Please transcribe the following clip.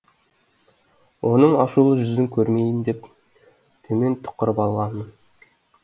оның ашулы жүзін көрмейін деп төмен тұқырып алғанмын